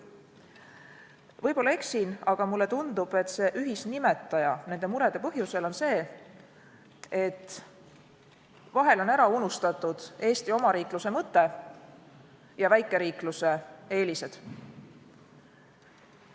Võib-olla eksin, aga mulle tundub, et nende murede ühisnimetaja on see, et vahel on ära unustatud Eesti omariikluse mõte ja väikeriikluse eelised.